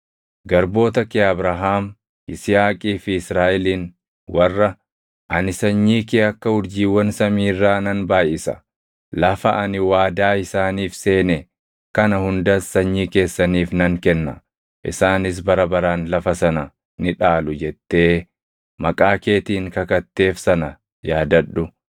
Garboota kee Abrahaam, Yisihaaqii fi Israaʼelin warra, ‘Ani sanyii kee akka urjiiwwan samii irraa nan baayʼisa; lafa ani waadaa isaaniif seene kana hundas sanyii keessaniif nan kenna; isaanis bara baraan lafa sana ni dhaalu’ jettee maqaa keetiin kakatteef sana yaadadhu.”